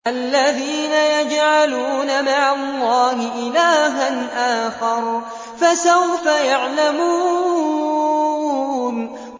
الَّذِينَ يَجْعَلُونَ مَعَ اللَّهِ إِلَٰهًا آخَرَ ۚ فَسَوْفَ يَعْلَمُونَ